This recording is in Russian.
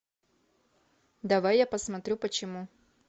давай я посмотрю почему